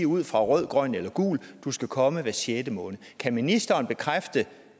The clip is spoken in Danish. ud fra rød grøn eller gul sige at du skal komme hver sjette måned kan ministeren bekræfte